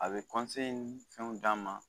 A bɛ ni fɛnw d'a ma